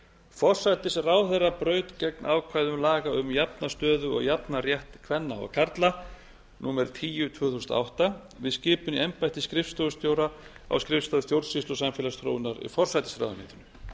forsætisráðherra braut gegn ákvæðum laga um jafna stöðu og jafnan rétt kvenna og karla númer tíu tvö þúsund og átta með skipun í embætti skrifstofustjóra á skrifstofu stjórnsýslu og samfélagsþróunar í